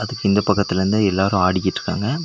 அதுக்கு இந்த பக்கத்துலிந்து எல்லாரு ஆடிகிட்ருக்காங்க.